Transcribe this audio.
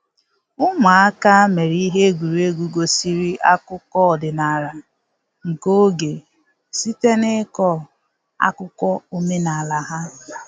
Ụmụaka mere ihe egwuregwu gosiri akụkọ ọdịnala nke oge site n’ịkọ akụkọ omenala ha.